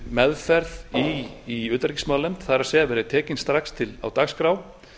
meðferð í utanríkismálanefnd það er verði tekin strax á dagskrá